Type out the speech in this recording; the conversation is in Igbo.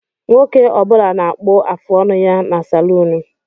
Nwoke Ọ bula na-akpu afụ ọnụ ya ná saluunu.